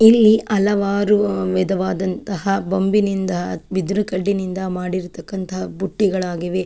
ಇಲ್ಲಿ ಹಲವಾರು ವಿಧವಾದಂತಹ ಬೊಂಬಿನಿಂದ ಬಿದಿರು ಕಡ್ಡಿನಿಂದ ಮಾಡಿರತಕ್ಕಂತ ಬುಟ್ಟಿಗಳಾಗಿವೆ.